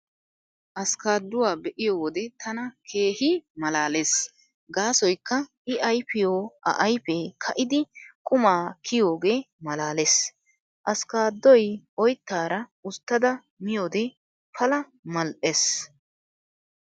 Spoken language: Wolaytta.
Askkaadduwaa be'iyo wode tana keehi malaalees gaasoykka I ayfiyo a ayfee ka'idi quma kiyiyoogee malaalees. Askkaaddoy oyttaara usttada miyoode pala mal'ees.